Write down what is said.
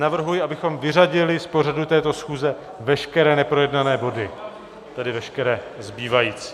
Navrhuji, abychom vyřadili z pořadu této schůze veškeré neprojednané body, tedy veškeré zbývající.